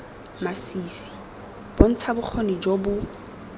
masisi bontsha bokgoni jo bo